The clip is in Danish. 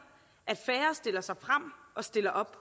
at færre stiller sig frem og stiller op